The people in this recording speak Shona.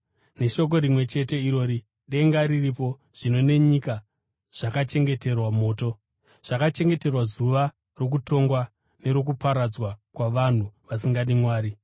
Neshoko rimwe chete irori denga riripo zvino nenyika zvakachengeterwa moto, zvakachengeterwa zuva rokutongwa nerokuparadzwa kwavanhu vasingadi Mwari.